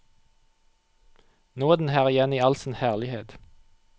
Nå er den her igjen i all sin herlighet.